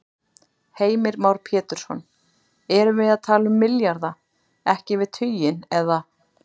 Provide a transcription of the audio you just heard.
Heimir Már Pétursson: Erum við að tala milljarða, ekki yfir tuginn, eða?